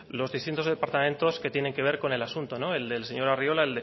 los distintos departamentos que tiene que ver con el asunto el del señor arriola